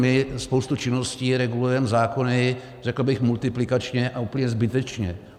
My spoustu činností regulujeme zákony, řekl bych, multiplikačně a úplně zbytečně.